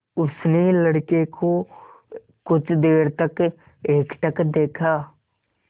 उसने लड़के को कुछ देर तक एकटक देखा